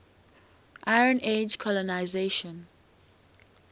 iron age colonisation